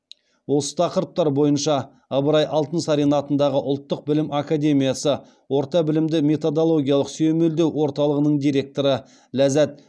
осы тақырыптар бойынша ыбырай алтынсарин атындағы ұлттық білім академиясы орта білімді методологиялық сүйемелдеу орталығының директоры ләззат